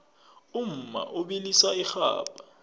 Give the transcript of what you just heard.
umma ubilisa irhabha